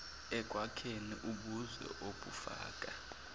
ekwakheni ubuzwe obufaka